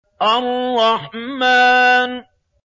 الرَّحْمَٰنُ